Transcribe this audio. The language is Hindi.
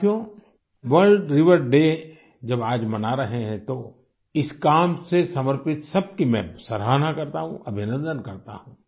साथियो वर्ल्ड रिवर डे जब आज मना रहे हैं तो इस काम से समर्पित सबकी मैं सराहना करता हूँ अभिनन्दन करता हूँ